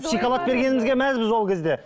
шоколад бергенімізге мәзбіз ол кезде